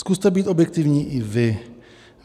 Zkuste být objektivní i vy.